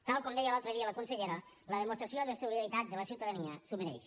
tal com deia l’altre dia la consellera la demostració de solidaritat de la ciutadania s’ho mereix